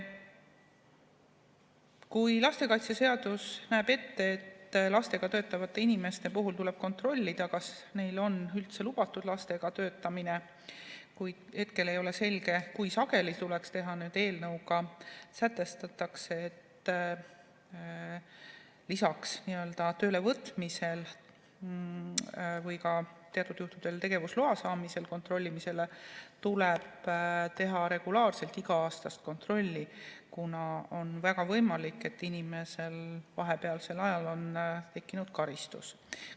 Kui lastekaitseseadus näeb ette, et lastega töötavate inimeste puhul tuleb kontrollida, kas neil on üldse lubatud lastega töötamine, kuid hetkel ei ole selge, kui sageli tuleks seda teha, siis eelnõuga sätestatakse, et lisaks tööle võtmisel või ka teatud juhtudel tegevusloa saamisel kontrollimisele tuleb teha regulaarset iga-aastast kontrolli, kuna on väga võimalik, et inimesel on vahepealsel ajal tekkinud karistus.